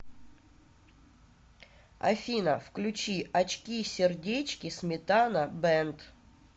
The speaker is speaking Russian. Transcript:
афина включи очки сердечки сметана бэнд